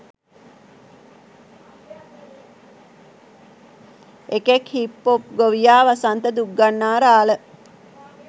එකෙක් hip pop ගොවියා වසන්ත දුක්ගන්නාරාල